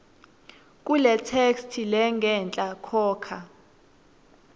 kuletheksthi lengenhla khokha